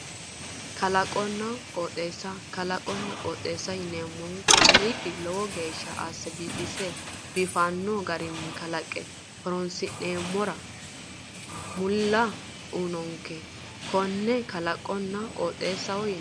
Kalaqonna qooxeessa kalaqohonna qooxeessaho yineemmohu kaaliiqi lowo geeshsha asse biifise biifanno garinni kalaqe horonsi'nammora mulla uyinonkeha konne kalaqonna qooxeessa yineemmo